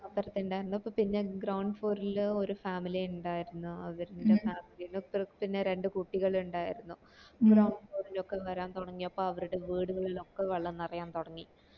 അപ്പർത്ത് ഇണ്ടായിരുന്നു അപ്പൊ പിന്നെ ground floor ല് ഒരു family ഇണ്ടായിരുന്നു അവർടെ ത്രത്തിന് രണ്ട് കുട്ടികൾ ഇണ്ടായിരുന്നു ലോക്കെ വരൻ തുടങ്ങിയപ്പോ അവര്ടെ വീടുകളിൽ ഒക്കെ വെള്ളം നെറയാൻ